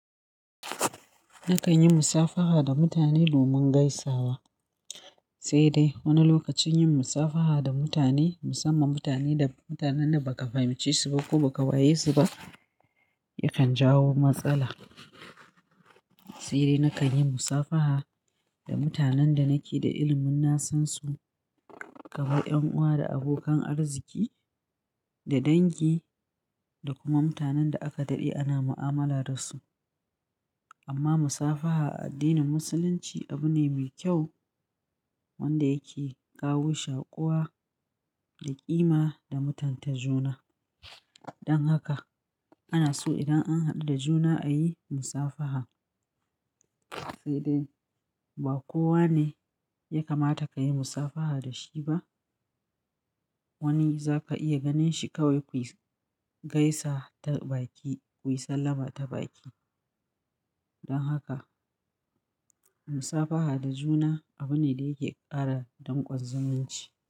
Na kan yi musafaha da mutane domin gaisawa. Sai dai wani lokacin yin musafaha da mutane, musamman mutanen da ba ka fahimci su ba ko ba ka waye su ba yakan jawo matsala. Sai dai na kan yi musafaha da mutanen da nake da ilimin na san su, kamar 'yan uwa da abokan arziki da dangi da kuma mutanen da aka daɗe ana mu'amala da su. Amma musafaha a addinin Musulunci abu ne mai kyau wanda yake kawo shakuwa da ƙima da mutan ta juna. Don haka ana so idan an haɗu da juna a yi musafaha. Sai dai ba kowa ne ya kamata ka yi musafaha da shi ba. Wani za ka iya ganin shi kawai kuyi gaisa ta baki, kuyi sallama ta baki. Don haka musafaha da juna abu ne da yake ƙara danƙon zumunci.